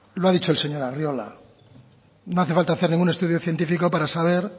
lo ha dicho el señor arriola no hace falta hacer ningún estudio científico para saber